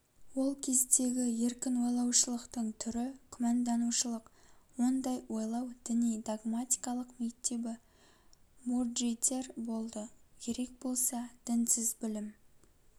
ол кездегі еркін ойлаушылықтың түрі күмәнданушылық ондай ойлау діни-догматикалық мектебі мурджитер болды керек болса дінсіз білім